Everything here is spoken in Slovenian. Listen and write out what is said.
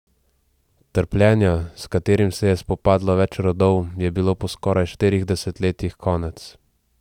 Trpljenja, s katerim se je spopadlo več rodov, je bilo po skoraj štirih desetletjih konec.